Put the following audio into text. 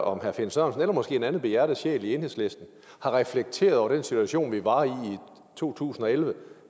om herre finn sørensen eller måske en anden behjertet sjæl i enhedslisten har reflekteret over den situation vi var i i to tusind og elleve